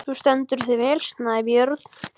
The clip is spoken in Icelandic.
Þú stendur þig vel, Snæbjörn!